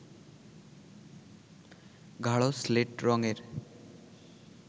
গাঢ় শ্লেট রংয়ের